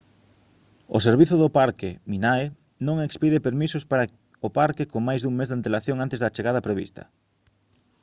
o servizo do parque minae non expide permisos para o parque con máis dun mes de antelación antes da chegada prevista